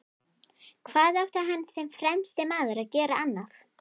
Hvað átti hann sem fremsti maður að gera annað?